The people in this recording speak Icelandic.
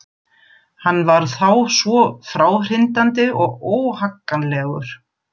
Hann var þá svo fráhrindandi og óhagganlegur.